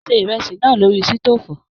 Mo ṣe ìrẹsì náà lórí sitofu.